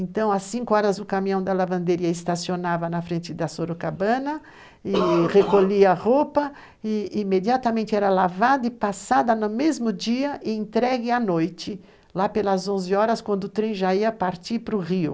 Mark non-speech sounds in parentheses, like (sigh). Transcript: Então, às 5 horas, o caminhão da lavanderia estacionava na frente da Sorocabana e (coughs) recolhia a roupa e imediatamente era lavada e passada no mesmo dia e entregue à noite, lá pelas 11 horas, quando o trem já ia partir para o rio.